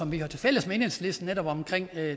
vi har tilfælles med enhedslisten netop omkring